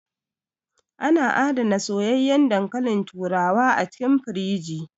Ana adana soyayyan dankalin turawa a cikin firiji